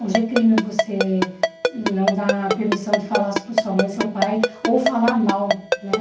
Hoje é crime você não dar permissão de falar sobre sua mãe e seu pai, ou falar mal, né?